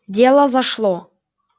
дело зашло